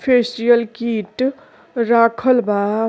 Facial kit राखल बा।